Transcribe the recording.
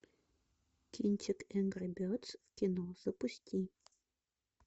кинчик энгри бердс в кино запусти